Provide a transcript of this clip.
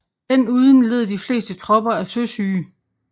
Den uden led de fleste tropper af søsyge